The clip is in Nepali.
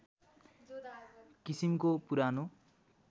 किसिमको पुरानो